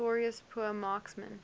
notorious poor marksmen